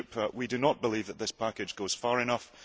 We do not believe that this package goes far enough.